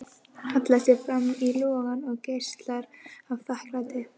Hallar sér fram í logann og geislar af þakklæti.